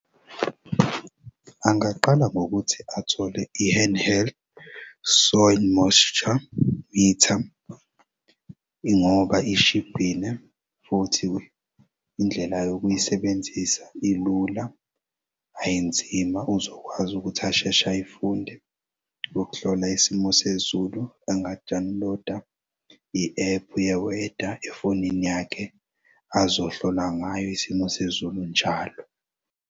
Angaqala ngokuthi athole i-hand-held soil moisture metre ingoba ishibhile futhi indlela yokuyisebenzisa ilula ayinzima uzokwazi ukuthi ashesh'ayifunde lokuhlola isimo sezulu enga-download-a i-ephu ye-weather efonini yakhe azohlola ngayo isimo sezulu njalo.